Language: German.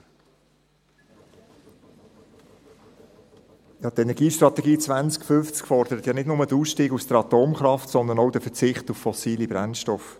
Ja, die Energiestrategie 2050 fordert ja nicht nur den Ausstieg aus der Atomkraft, sondern auch den Verzicht auf fossile Brennstoffe.